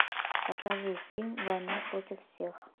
покажи фильм война против всех